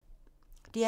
DR P2